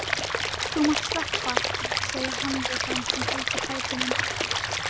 Þú mátt sleppa, segir hann við þann sem heldur fætinum.